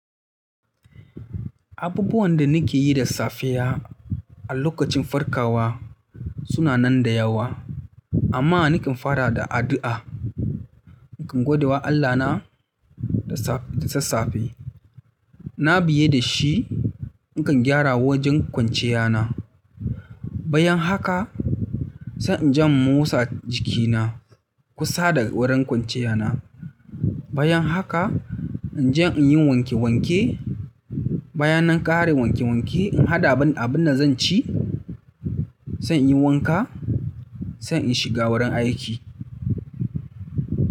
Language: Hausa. Abubuwan da nake yi da safiya a lokacin farkawa suna nan da yawa amma nakan fara da addu'a. Nakan godewa Allahna da sassafe. Na biye da shi, nakan gyara wajen kwanciyana. Bayan haka, san in jan mosa jikina kusa da wurin kwanciyana. Bayan haka in je in yi wanke wanke. Bayanan ƙare wanke wanke, in haɗa abin da zan ci, san in yi wanka, sai in shiga wurin aiki.